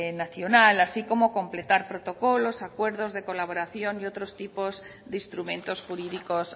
nacional así como completar protocolos acuerdos de colaboración y otros tipos de instrumentos jurídicos